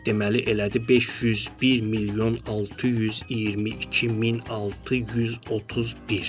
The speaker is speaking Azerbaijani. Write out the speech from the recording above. Deməli elədi 501 milyon 622 min 631.